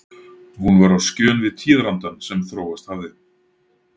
Hún var á skjön við tíðarandann sem þróast hafði.